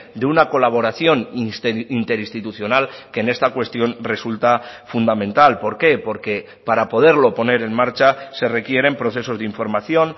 de una colaboración interinstitucional que en esta cuestión resulta fundamental por qué porque para poderlo poner en marcha se requieren procesos de información